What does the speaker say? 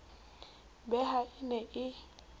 be ha e ne e